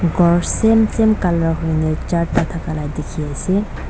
ghor same same colour hoina jarata aga dekhi se.